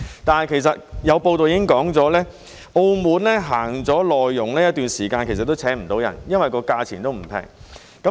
但是，有報道指出，澳門實行輸入內傭一段時間，但都聘請不到人，因為價錢並不便宜。